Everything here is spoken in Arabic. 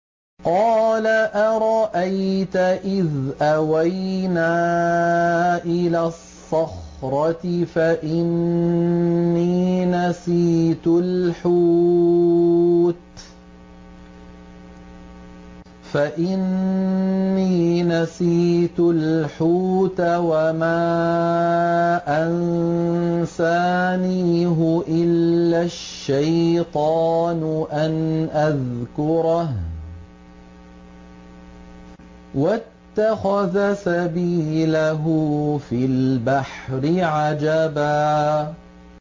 قَالَ أَرَأَيْتَ إِذْ أَوَيْنَا إِلَى الصَّخْرَةِ فَإِنِّي نَسِيتُ الْحُوتَ وَمَا أَنسَانِيهُ إِلَّا الشَّيْطَانُ أَنْ أَذْكُرَهُ ۚ وَاتَّخَذَ سَبِيلَهُ فِي الْبَحْرِ عَجَبًا